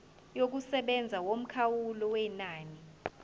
yokusebenza yomkhawulo wenani